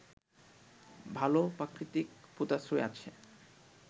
ভাল প্রাকৃতিক পোতাশ্রয় আছে